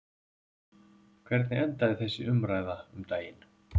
Hvernig endaði þessi umræða um daginn?